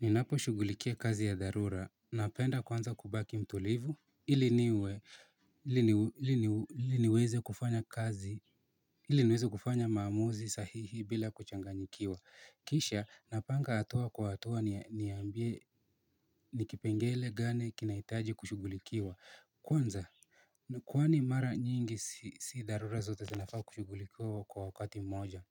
Ninaposhugulikia kazi ya darura, napenda kwanza kubaki mtulivu Iliniweze kufanya maamuzi sahihi bila kuchanganyikiwa Kisha napanga hatua kwa hatua niyambie nikipengele gane kinaitaji kushugulikiwa Kwanza, kwani mara nyingi si darura zote zinafaa kushugulikiwa kwa wakati moja